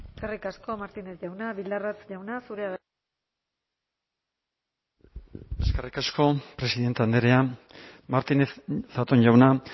eskerrik asko martínez jauna bildarratz jauna zurea da hitza eskerrik asko presidenta andrea martínez zatón jauna